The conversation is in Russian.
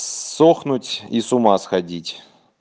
сохнуть и с ума сходить